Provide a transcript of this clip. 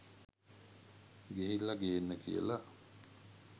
ගිහිල්ල ගේන්න කියල